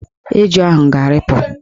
Eju ahụ ga-arịpụ.